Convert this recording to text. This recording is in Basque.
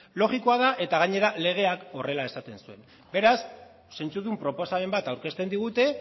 logikoa da eta gainera legeak horrela esaten zuen beraz zentzudun proposamen bat aurkezten digute